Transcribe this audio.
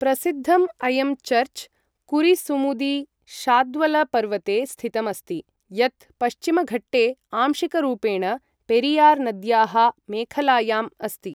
प्रसिद्धम् अयं चर्च्, कुरिसुमुदी शाद्वलपर्वते स्थितम् अस्ति, यत् पश्चिमघट्टे, आंशिकरूपेण पेरियार् नद्याः मेखलायाम् अस्ति।